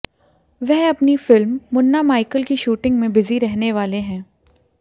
वह अपनी film Munna Michael की शूटिंग में बिजी रहने वाले हैं